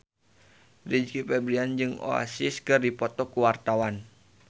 Rizky Febian jeung Oasis keur dipoto ku wartawan